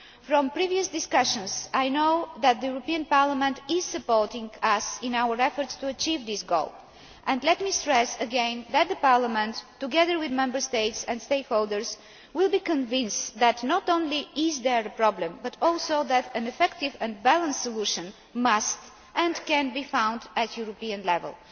market. From previous discussions, I know that the European Parliament is supporting us in our efforts to achieve this goal. Let me stress again that Parliament, together with Member States and stakeholders, will be convinced that not only is there a problem but also that an effective and balanced solution must and can be found at European